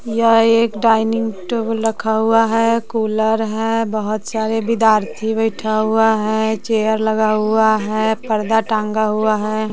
यह एक dining table रखा हुआ है कूलर है बहुत सारे विद्यार्थी बैठा हुआ है चेयर लगा हुआ है पर्दा टांगा हुआ है।